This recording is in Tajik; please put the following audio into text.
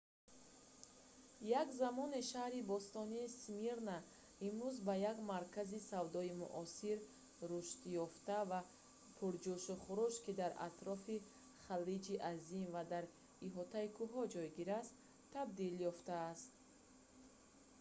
як замоне шаҳри бостонии смирна имрӯз ба як маркази савдои муосир рушдёфта ва пуҷӯшу хурӯш ки дар атрофи халиҷи азим ва дар иҳотаи кӯҳҳо ҷойгир аст табдил ёфтааст